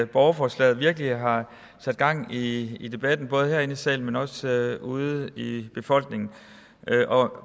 borgerforslaget virkelig har sat gang i i debatten både herinde i salen men også ude i befolkningen og